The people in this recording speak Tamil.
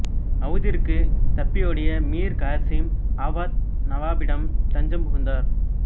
அவுதிற்குத் தப்பியோடிய மீர் காசிம் அவாத் நவாபிடம் தஞ்சம் புகுந்தார்